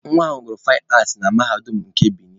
Nwa ha gụrụ faịn aatị na Mahadum nke Benin